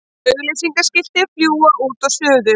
Auglýsingaskilti fljúga út og suður